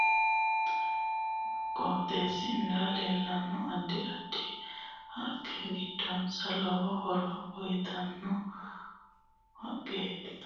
Mancho anagasera xila amade leeltanno kuni xili aano horo xeenu yannaranno ikko arishu yannara addi addi horo aanno ise noo qooxeesira leeltanno addi addi haqqe giddose lowo horo uyiitanno